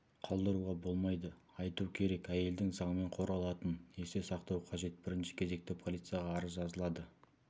қалдыруға болмайды айту керек әйелдің заңмен қорғалатынын есте сақтау қажет бірінші кезекте полицияға арыз жазылады